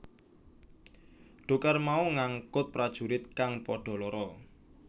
Dhokar mau ngangkut prajurit kang padha lara